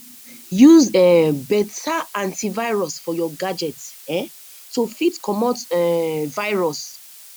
use um better anti virus for your gadget um to fit comot um virus